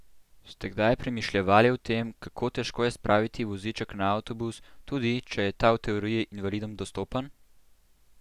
Ste kdaj premišljevali o tem, kako težko je spraviti voziček na avtobus, tudi, če je ta v teoriji invalidom dostopen?